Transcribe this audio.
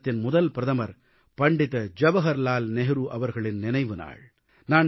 பாரதத்தின் முதல் பிரதமர் பண்டித ஜவஹர்லால் நேரு அவர்களின் நினைவுநாள்